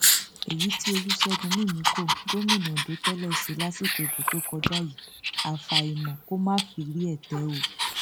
èyí tí olùṣègùn mìmìkọ gómìnà ondo tẹlẹ ṣe lásìkò ìbò tó kọjá yìí àfàìmọ kó má fi rí ète o